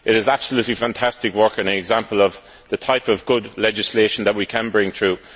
It is absolutely fantastic work and an example of the type of good legislation that we can bring through.